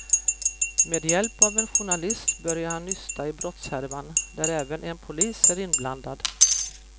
Med hjälp av en journalist börjar han nysta i brottshärvan, där även en polis är inblandad.